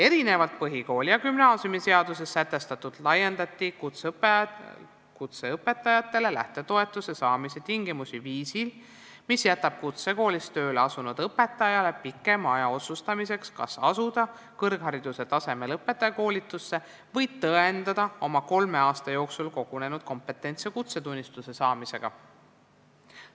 Erinevalt põhikooli- ja gümnaasiumiseaduses sätestatust laiendati kutseõpetaja lähtetoetuse saamise tingimusi viisil, mis jätab kutsekoolis tööle asunud õpetajale pikema aja otsustamiseks, kas valida kõrghariduse tasemel õpetajakoolitus või tõendada oma kolme aasta jooksul kogunenud kompetentsi kutsetunnistuse saamisega.